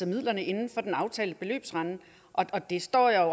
midlerne inden for den aftalte beløbsramme og det står jeg